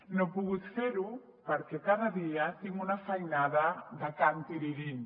no he pogut fer ho perquè cada dia tinc una feinada de can tirirín